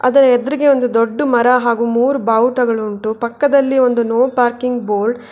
ಅದರ ಎದ್ರುಗೆ ಒಂದು ದೊಡ್ದು ಮರ ಹಾಗು ಮೂರು ಬಾವುಟಗಲುಂಟು ಪಕ್ಕದಲ್ಲಿ ಒಂದು ನೋ ಪಾರ್ಕಿಂಗ್ ಬೋರ್ಡ್ --